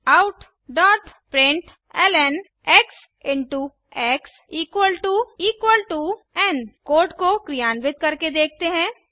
Systemoutprintlnएक्स x n code को क्रियान्वित करके देखते हैं